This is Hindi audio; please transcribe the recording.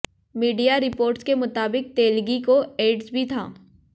मीडिया रिपोर्ट्स के मुताबिक तेलगी को एड्स भी था